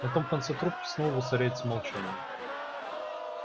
на том конце трубки снова воцаряется молчание